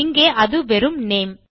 இங்கே அது வெறும் நேம்